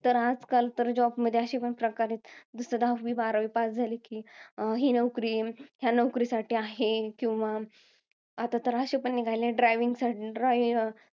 तर, आजकाल job मध्ये असेपण प्रकार आहेत. जसं दहावी बारावी pass झाले कि, ही नोकरी किंवा या नोकरीसाठी आहे. आता तर अशे पण निघालेत, driving साठी ड्राई~ अं